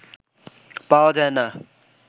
পাওয়া যায়না